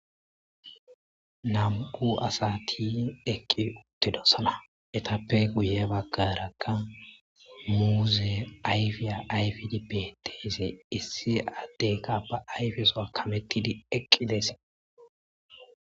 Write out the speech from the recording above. Nam,u asati eqqi uttido sala etappe guye baggarakka muuze ayfiya ayfidi be teesi issi addeyka ba ayfeso akamettidi eqqideese.